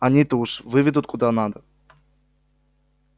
они-то уж выведут куда надо